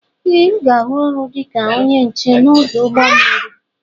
Ee aga m arụ ọrụ dịka ónyé nche n'odu ụgbọ mmiri.